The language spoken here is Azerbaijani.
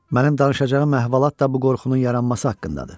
Mənim danışacağım əhvalat da bu qorxunun yaranması haqqındadır.